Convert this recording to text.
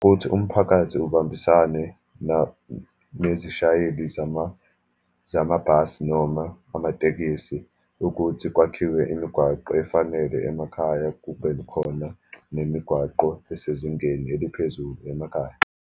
Ukuthi umphakathi, ubambisane na, nezishayeli zamabhasi, noma amatekisi ukuthi kwakhiwe imigwaqo efanele emakhaya, kube khona nemigwaqo esezingeni eliphezulu emakhaya.